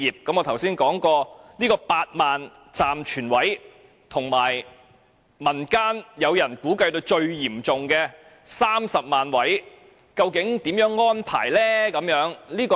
我剛才說過當局有8萬個暫存位，但民間估計在最嚴重的情況下需要30萬個位，究竟如何安排？